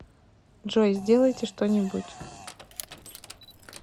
джой сделайте что нибудь